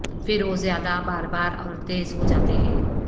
پھر وہ زیادہ بار بار اور تیز ہو جاتے ہیں